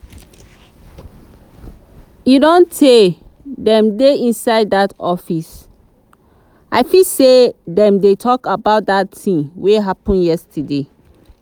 e don tay dem dey inside dat office. i feel say dem dey talk about dat thing wey happen yesterday